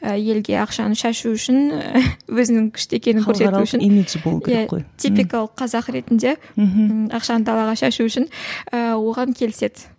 елге ақшаны шашу үшін өзінің күшті екенін көрсету үшін иә типикалық қазақ ретінде мхм ақшаны далаға шашу үшін ііі оған келіседі